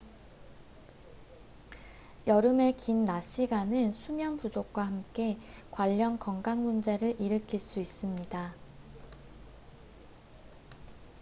여름의 긴 낮 시간은 수면 부족과 함께 관련 건강 문제를 일으킬 수 있습니다